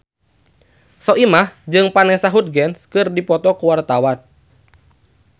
Soimah jeung Vanessa Hudgens keur dipoto ku wartawan